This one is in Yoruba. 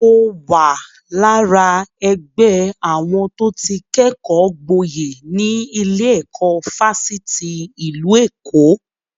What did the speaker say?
Mo wà lára ẹgbẹ́ àwọn tó ti kẹ́kọ̀ọ́ gboyè ní ilé-ẹ̀kọ́ Fásitì ìlú Èkó.